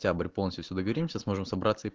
тябрь полностью если договоримся сможем собраться и